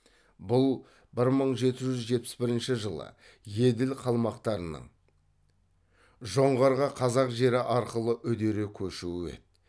бұл бір мың жеті жүз жетпіс бірінші жылы еділ қалмақтарының жоңғарға қазақ жері арқылы үдере көшуі еді